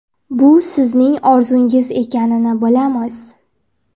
Bu sizning orzungiz ekanini bilamiz!